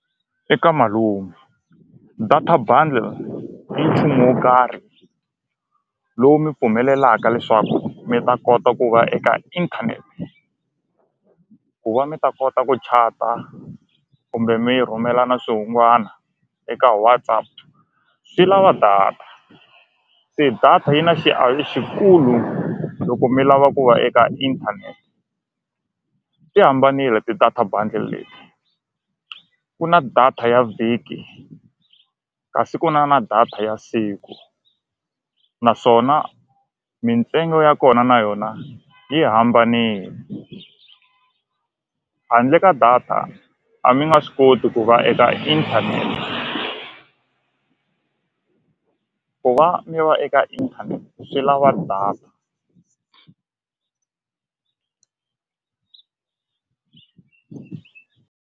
Eka malume data bundle i nchumu wo karhi lowu mi pfumelelaka leswaku mi ta kota ku va eka inthanete ku va mi ta kota ku chat-a kumbe mi rhumelana swihungwana eka WhatsApp swi lava data se data yi na xiavi xikulu loko mi lava ku va eka inthanete ti hambanile ti-data bundles leti ku na data ya vhiki kasi ku na na data ya siku naswona mintsengo ya kona na yona yi hambanile handle ka data a mi nga swi koti ku va eka inthanete ku va mi va eka internet swi lava .